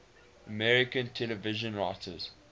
american television writers